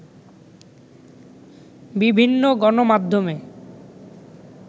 বিভিন্ন গণমাধ্যমে